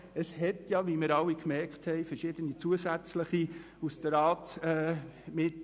Aus der Ratsmitte wurden noch verschiedene zusätzliche Anträge gestellt.